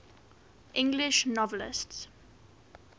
english novelists